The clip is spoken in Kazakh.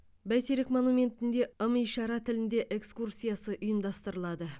бәйтерек монументінде ым ишара тілінде экскурсиясы ұйымдастырылады